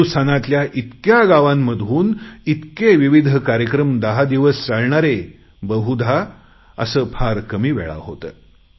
हिंदुस्थानातल्या इतक्या गावांमधून इतके विविध कार्यक्रम दहा दिवस चालणारे बहुधा असं फार कमी वेळा होतं